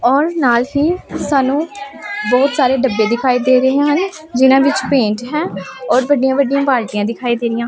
ਔਰ ਨਾਲ ਹੀ ਸਾਨੂੰ ਬਹੁਤ ਸਾਰੇ ਡੱਬੇ ਦਿਖਾਈ ਦੇ ਰਹੇ ਹਨ ਜਿਹਨਾਂ ਵਿਚ ਪੇਂਟ ਹੈ ਔਰ ਵੱਡੀਆਂ ਵੱਡੀਆਂ ਬਾਲਟੀਆਂ ਦਿਖਾਈ ਦੇ ਰਹੀਆਂ।